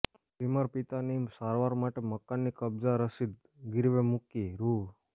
બીમાર પિતાની સારવાર માટે મકાનની કબજા રસીદ ગીરવે મૂકી રૂ